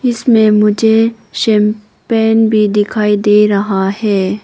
इसमें मुझे शैम्पेन भी दिखाई दे रहा है।